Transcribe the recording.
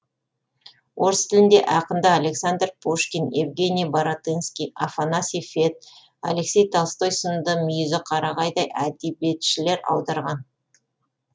орыс тілінде ақынды александр пушкин евгений баратынский афанасий фет алексей толстой сынды мүйізі қарағайдай әдебиетшілер аударған